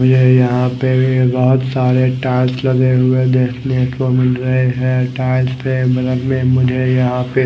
मुझे यहाँ पे बोहोत सारे टोर्च लगे हुए देखने को मिल रहे है टोर्च पे मुझे यहाँ पे--